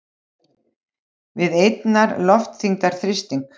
við einnar loftþyngdar þrýsting.